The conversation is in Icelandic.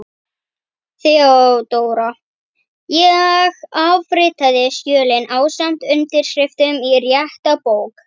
THEODÓRA: Ég afritaði skjölin ásamt undirskriftum í rétta bók.